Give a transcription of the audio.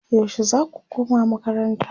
yaushe zaku koma makaranta?